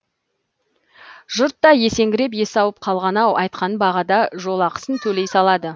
жұрт та есеңгіреп есі ауып қалған ау айтқан бағада жолақысын төлей салады